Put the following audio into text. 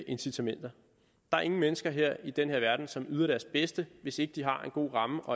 incitamenter der er ingen mennesker her i denne verden som yder deres bedste hvis ikke de har en god ramme at